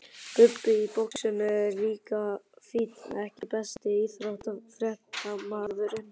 Bubbi í boxinu er líka fínn EKKI besti íþróttafréttamaðurinn?